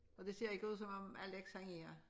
Og det ser ikke ud som om Alex er her